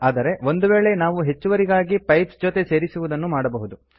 ಆದರೆ ಒಂದುವೇಳೆ ನಾವು ಹೆಚ್ಚುವರಿಗಾಗಿ ಪೈಪ್ಸ್ ಜೊತೆ ಸೇರಿಸುದನ್ನು ಮಾಡಬಹುದು